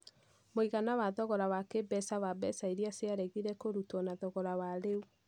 Mũigana wa thogora wa kĩĩmbeca wa mbeca iria ciaregire kũrutwo na thogora wa rĩu